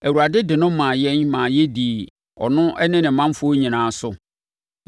Awurade de no maa yɛn ma yɛdii ɔno, ne ne manfoɔ nyinaa so.